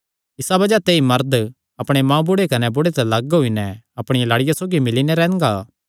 इसा बज़ाह ते ई मरद अपणे मांऊ कने बुढ़े ते लग्ग होई नैं अपणिया लाड़िया सौगी मिल्ली नैं रैंह्दा